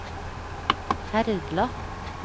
Herdla